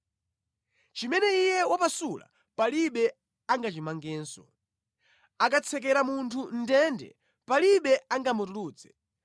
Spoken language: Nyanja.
Chimene Iye wapasula palibe angachimangenso. Akatsekera munthu mʼndende palibe angamutulutse.